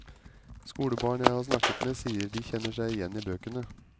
Skolebarn jeg har snakket med sier de kjenner seg igjen i bøkene.